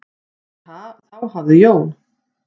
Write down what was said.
"""Nei, þá hafði Jón"""